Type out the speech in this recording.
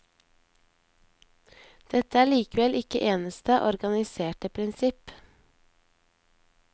Dette er likevel ikke eneste organiserende prinsipp.